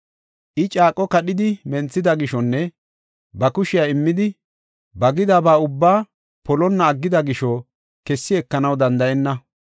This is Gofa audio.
I caaqo kadhidi menthida gishonne ba kushiya immidi, ba gida ba ubba polonna aggida gisho kessi ekanaw danda7enna.”